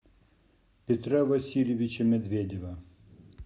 петра васильевича медведева